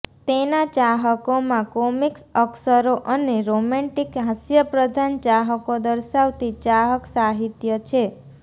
તેના ચાહકોમાં કોમિક્સ અક્ષરો અને રોમેન્ટિક હાસ્યપ્રધાન ચાહકો દર્શાવતી ચાહક સાહિત્ય છે